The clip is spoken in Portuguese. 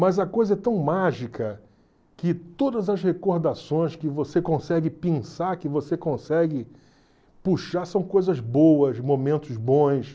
Mas a coisa é tão mágica que todas as recordações que você consegue pensar, que você consegue puxar, são coisas boas, momentos bons.